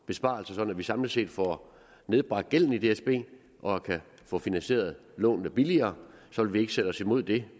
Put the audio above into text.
besparelser sådan at vi samlet set får nedbragt gælden i dsb og kan få finansieret lånene billigere så vi vil ikke sætte os imod det